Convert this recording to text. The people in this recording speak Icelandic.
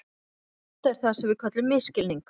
Þetta er það sem við köllum misskilning.